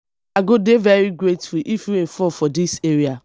i go dey very grateful if rain fall for dis area